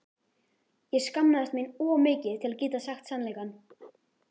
Ég skammaðist mín of mikið til að geta sagt sannleikann.